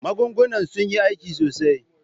Magungunan sun yi aiki sosai.